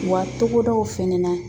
Wa togodaw fɛnɛ na